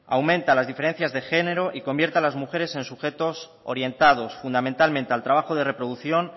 aumenta las diferencias de género y convierte a las mujeres en sujetos orientados fundamentalmente al trabajo de reproducción